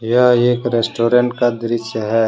यह एक रेस्टोरेंट का दृश्य है।